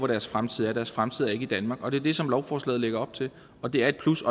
deres fremtid er deres fremtid er ikke i danmark det er det som lovforslaget lægger op til det er et plus